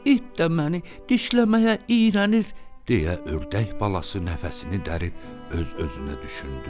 İt də məni dişləməyə iyrənir deyə ördək balası nəfəsini dərib öz-özünə düşündü.